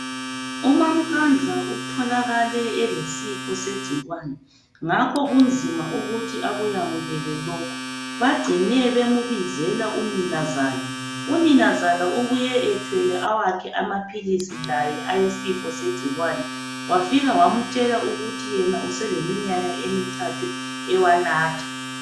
UmaMkandla utholakale elesifo segcikwane ngakho kunzima ukuthi akuyamukele lokhu. Bagcine bembizela uninazala. Uninazala ubuye ethwele awakhe amaphilisi laye awesifo segcikwane wafika wamtshela ukuthi yena useleminyaka emithathu ewanatha.